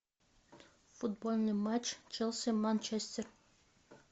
футбольный матч челси манчестер